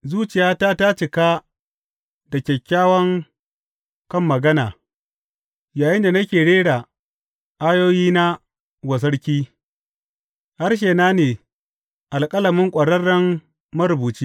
Zuciyata ta cika da kyakkyawan kan magana yayinda nake rera ayoyina wa sarki; harshena ne alƙalamin ƙwararren marubuci.